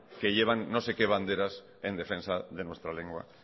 que llevan no sé qué banderas en defensa de nuestra lengua